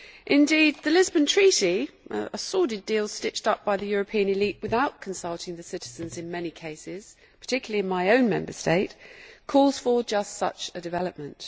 Indeed the Lisbon Treaty a sordid deal stitched up by the European elite without consulting the citizens in many cases, particularly in my own Member State calls for just such a development.